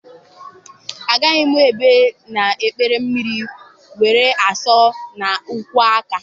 Agaghị m ebi na ikpere mmiri were asọ na-akwọ aka.